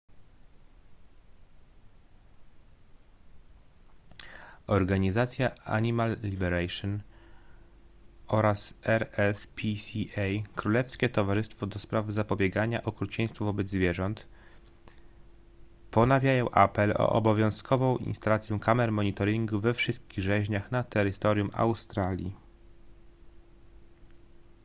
organizacja animal liberation oraz rspca królewskie towarzystwo ds. zapobiegania okrucieństwu wobec zwierząt ponawiają apel o obowiązkową instalację kamer monitoringu we wszystkich rzeźniach na terytorium australii